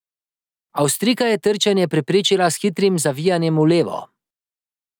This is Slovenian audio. Avstrijka je trčenje preprečila s hitrim zavijanjem v levo.